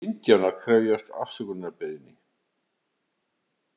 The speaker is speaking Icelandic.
Indíánar krefjast afsökunarbeiðni